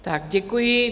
Tak děkuji.